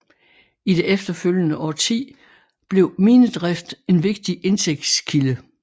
I det efterfølgende årti blev minedrift en vigtig indtægtskilde